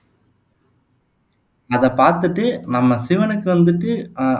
அதைப் பாத்துட்டு நம்ம சிவனுக்கு வந்துட்டு ஆஹ்